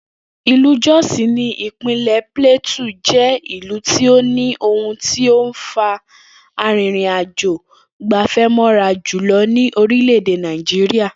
Ilú Jos ní ìpínlè̩ Plateau jé̩ ìlú tí ó ní ohun tó ń fa arìnrìnàjò-gbè̩fé̩ mó̩ra jùlo̩ ní orílè̩-èdè Nàìjíríà